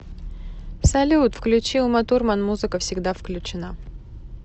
салют включи уматурман музыка всегда включена